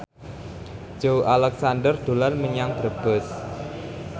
Joey Alexander dolan menyang Brebes